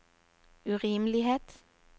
urimelighet